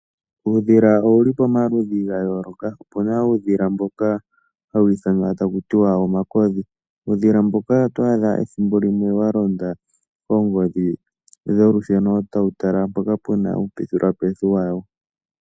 Uudhila owuli pamaludhi ga yooloka. Opuna uudhila mboka hawu ithanwa ta kuti wa omakodhi. Uudhila mboka oto adha ethimbo limwe wa londa kongodhi, tawu talampoka pena uupetulitha wawo.